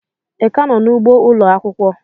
Ị ka nọ n'ugbo ụlọ akwụkwọ?